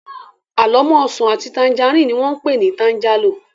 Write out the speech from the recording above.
Àlọ́mọ́ ọsàn àti tangerine ni wón pé ni tangerlo